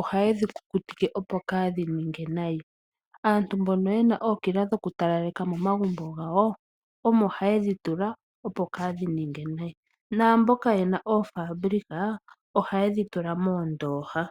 ohaye dhi kukutike opo kaadhi ninge nayi. Aantu mbono yena ookila dhokutalaleka momagumbo gawo, omo haye dhi tula opo kaadhi ninge nayi. Naamboka yena oofabulika, ohaye dhi tula moondooha.